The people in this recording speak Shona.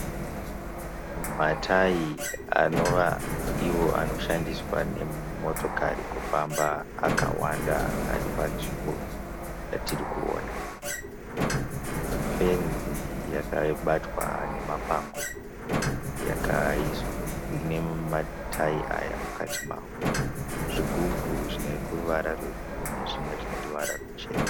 Matayi anova iwo anoshandiswa nemotokari kufamba akawanda aripanzvimbo yatirikuona. Fenzi yakabatwa nemapango ine matayi aya mukati mayo. Zvigubhu zvineruvara rwe bhuruu nezvimwe zvineruvara ruchena.